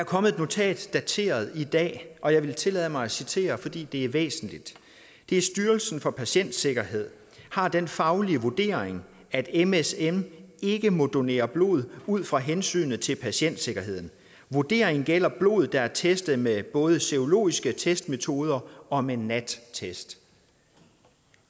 kommet et notat dateret i dag og jeg vil tillade mig at citere fordi det er væsentligt styrelsen for patientsikkerhed har den faglige vurdering at msm ikke må donere blod ud fra hensynet til patientsikkerheden vurderingen gælder blod der er testet med både serologiske testmetoder og med nat test